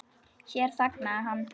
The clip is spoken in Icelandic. Hér þagnaði hann.